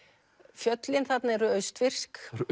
fjöllin þarna eru austfirsk